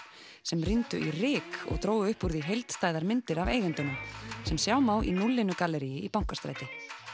sem rýndu í ryk og drógu upp úr því heildstæðar myndir af eigendunum sem sjá má í núllinu í Bankastræti